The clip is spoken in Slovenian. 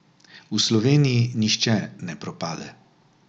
V Sloveniji nihče ne propade!